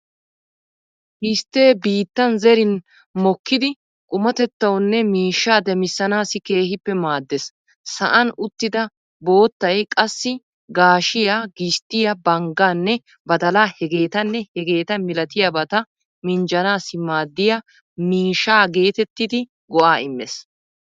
Gistte biittan zerin mokkidi qumatettawunne miishshaa demissanaassi keehippe maaddeees. Sa'an uttida boottay qassi gaashshiyaa, gisttiyaa, banggaanne badalaa hegeetanne hegeeta malatiyaabata minjjanaassi maaddiya miishsha geetettidi go'aa immees.